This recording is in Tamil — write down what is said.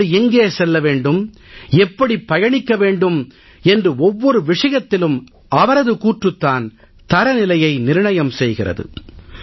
நாடு எங்கே செல்ல வேண்டும் எப்படிப் பயணிக்க வேண்டும் என்று ஒவ்வொரு விஷயத்திலும் அவரது கூற்றுத் தான் தரநிலையை நிர்ணயம் செய்கிறது